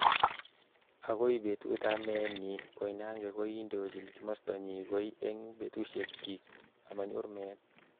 Akoi betut ab meet nyi, Koinange kokindojin kimosta nyi koi eng betushek chik amanyor meet.